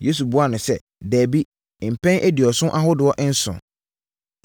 Yesu buaa no sɛ, “Dabi! Mpɛn aduɔson ahodoɔ nson!